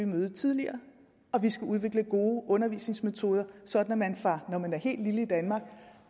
møde tidligere og vi skal udvikle gode undervisningsmetoder sådan at man fra når man er helt lille i danmark